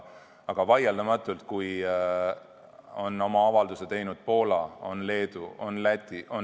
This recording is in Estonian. Aga nüüd on oma avalduse teinud Poola, Leedu ja Läti.